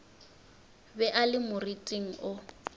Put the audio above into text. be a le moriting wo